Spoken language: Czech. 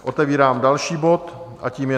Otevírám další bod a tím je